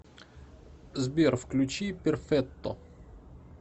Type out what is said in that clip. сбер включи перфетто